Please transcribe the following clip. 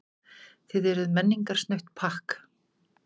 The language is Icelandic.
Þið eruð menningarsnautt pakk.